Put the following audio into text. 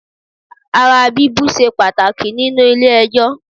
Ara bíbú ṣe pàtàkì nínú ilé ẹjọ́